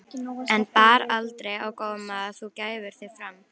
En bar aldrei á góma að þú gæfir þig fram?